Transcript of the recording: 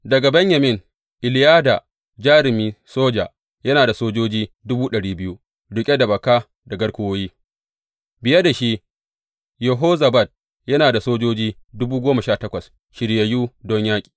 Daga Benyamin, Eliyada, jarumi soja, yana da sojoji riƙe da baka da garkuwoyi; biye da shi, Yehozabad, yana da sojoji dubu goma sha takwas shiryayyu don yaƙi.